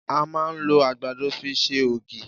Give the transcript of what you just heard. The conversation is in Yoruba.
À máa ń lo àgbàdo fi ṣe ògí